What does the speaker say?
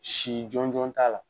Sin jɔnjɔn t'a la.